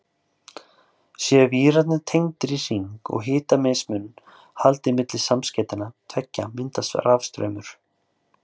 Séu vírarnir tengdir í hring og hitamismun haldið milli samskeytanna tveggja myndast rafstraumur.